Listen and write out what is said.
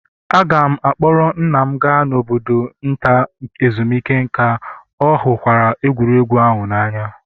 Aga m a kpọọrọ nna m gaa n'obodo nta ezumike nka, ọ hụkwara egwuregwu ahụ n'anya